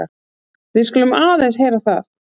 Við skulum aðeins heyra það.